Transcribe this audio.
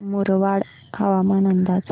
मुरबाड हवामान अंदाज